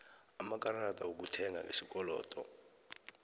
amakarada wokuthenga ngesikolodo